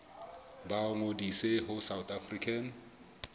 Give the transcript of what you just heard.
ba ngodise ho south african